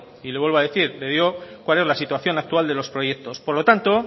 y lo vuelvo a decir le digo cuál es la situación actual de los proyectos por lo tanto